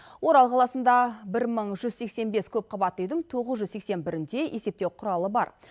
орал қаласында бір мың жүз сексен бес көпқабатты үйдің тоғыз жүз сексен бірінде есептеу құралы бар